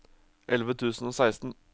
elleve tusen og seksten